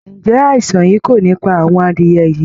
Ǹjẹ́ àìsàn yìí kò ní pa àwọn adìẹ̀ yìí?